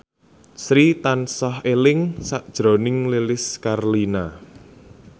Sri tansah eling sakjroning Lilis Karlina